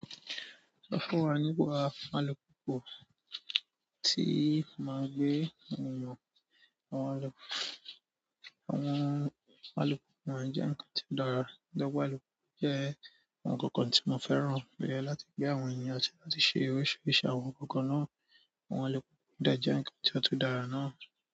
Sọ fún wa nípa àlùpùpù tí màá gbé ènìyàn. Àwọn alùpùpù máa ń jẹ́ ǹkan tí ó dára. Lọ́wọ́ alùpùpù jẹ́ ohun kankan tí mò ń fẹ́ràn pẹ̀lú láti gbé àwọn ènìyàn sí láti ṣe oríṣiríṣi àwọn ǹkankan náà. Àwọn alùpùpù dẹ jẹ ǹkan tí ó tun dára náà.